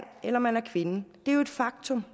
eller man er kvinde det er jo et faktum